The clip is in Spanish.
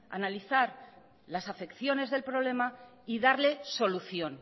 analizar las afecciones del problema y darle solución